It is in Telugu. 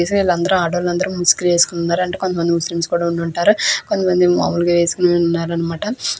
ఈ సారి మొత్తం ఆడవాలు మొత్తము ముసుక్ వేసోకొని ఉనారు కొత్తమంది ముస్లిమ్స్ కూడా ఉన్నారన్నమాట మామయాఉలు వాళ్ళు కూడా ఉన్నారి కొంతమంది ఇక్కడ మనకు కనిపెస్తునది.